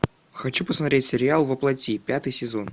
хочу посмотреть сериал во плоти пятый сезон